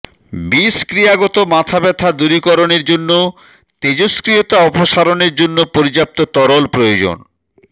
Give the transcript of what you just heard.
বিষক্রিয়াগত মাথাব্যথা দূরীকরণের জন্য তেজস্ক্রিয়তা অপসারণের জন্য পর্যাপ্ত তরল প্রয়োজন